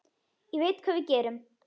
Ég veit hvað við gerum!